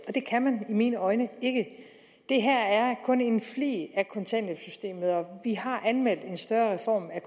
og det kan man i mine øjne ikke det her er kun en flig af kontanthjælpssystemet og vi har anmeldt en større reform af